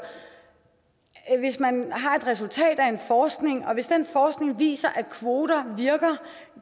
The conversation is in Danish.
hvis man har et resultat af en forskning og hvis den forskning viser at kvoter virker